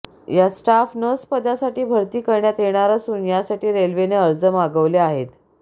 यात staff nurse पदासाठी भरती करण्यात येणार असून यासाठी रेल्वेने अर्ज मागवले आहेत